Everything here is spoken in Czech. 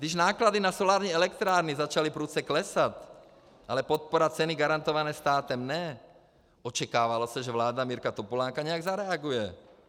Když náklady na solární elektrárny začaly prudce klesat, ale podpora ceny garantované státem ne, očekávalo se, že vláda Mirka Topolánka nějak zareaguje.